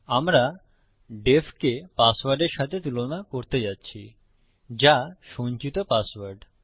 আমরা ডিইএফ কে পাসওয়ার্ডের সাথে তুলনা করতে যাচ্ছি যা সঞ্চিত পাসওয়ার্ড